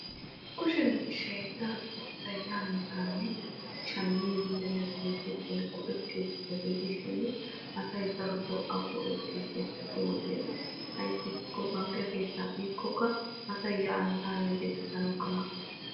Kushe miishshay daroto asay yaane haane shammidinne bayzzidi go'ettiyobata gidishin asay daroto a go'ettees. Hai wodiyan ayssi giikko bankke keettaa biikoka asay yaanne haanne gelisanawukka maaddees.